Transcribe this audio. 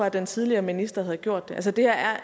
at den tidligere minister havde gjort det altså det her er